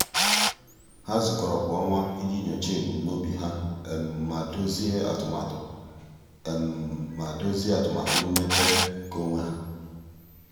há zùkọ́rọ́ kwa ọnwa iji nyòcháá ebumnobi ha ma dòzìé atụmatụ ma dòzìé atụmatụ mmepe nke onwe ha.